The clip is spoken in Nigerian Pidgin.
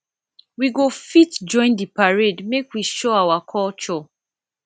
we go fit join di parade make we show our culture